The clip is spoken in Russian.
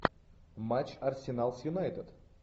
матч арсенал с юнайтед